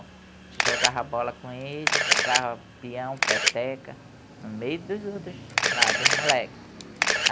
A gente jogava bola com eles, jogava peão, peteca, no meio dos outros lá, dos moleques.